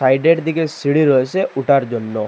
সাইডের দিকে সিঁড়ি রয়েসে উঠার জন্য।